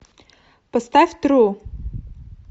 поставь тру